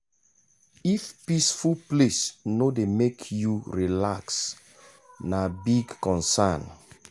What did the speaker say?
if peaceful place no dey make you relax na big concern.